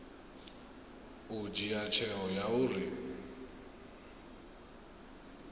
u dzhia tsheo ya uri